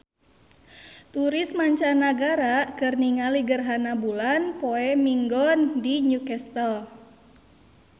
Turis mancanagara keur ningali gerhana bulan poe Minggon di New Castle